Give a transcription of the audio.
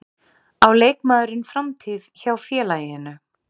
Á leikmaðurinn framtíð hjá félaginu?